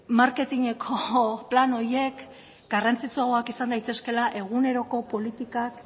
marketineko plan horiek garrantzitsuagoak izan daitezkela eguneroko politikak